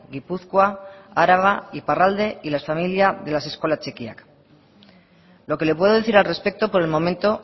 gipuzkoa araba iparralde y las familias de las eskola txikiak lo que le puedo decir al respecto por el momento